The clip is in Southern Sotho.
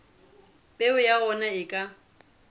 peo ya ona e ka